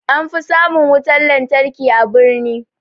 An fi samun wutan lantarki a birni